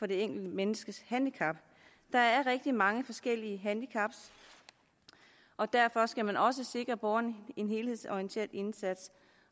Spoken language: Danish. det enkelte menneskes handicap der er rigtig mange forskellige handicap og derfor skal man også sikre borgeren en helhedsorienteret indsats